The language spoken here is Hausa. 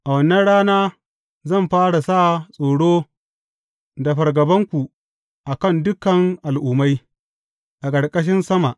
A wannan rana zan fara sa tsoro da fargabanku a kan dukan al’ummai, a ƙarƙashin sama.